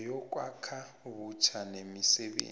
neyokwakha butjha nemisebenzi